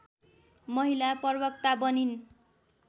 महिला प्रवक्ता बनिन्